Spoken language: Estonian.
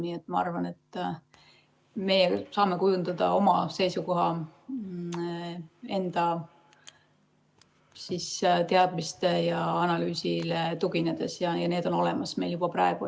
Nii et ma arvan, et me saame kujundada oma seisukoha enda teadmistele ja analüüsile tuginedes ja need on meil olemas juba praegu.